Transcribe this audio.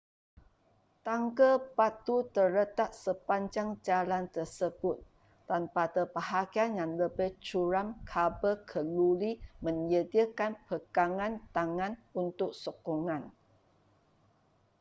tangga batu terletak sepanjang jalan tersebut dan pada bahagian yang lebih curam kabel keluli menyediakan pegangan tangan untuk sokongan